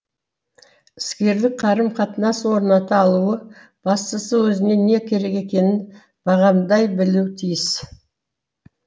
іскерлік қарым қатынас орната алуы бастысы өзіне не керек екенін бағамдай білуі тиіс